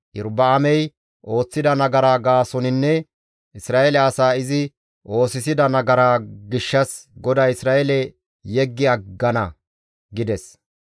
Iyorba7aamey ooththida nagara gaasoninne Isra7eele asaa izi oosisida nagaraa gishshas GODAY Isra7eele yeggi aggana» gides.